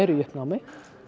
í uppnámi